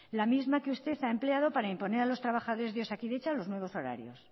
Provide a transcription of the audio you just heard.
la misma que usted ha empleado para imponer a los trabajadores de osakidetza los nuevos horarios